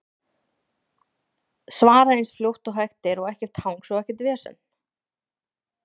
Svara eins fljótt og hægt er og ekkert hangs og ekkert vesen?